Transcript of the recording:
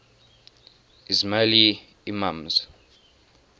ismaili imams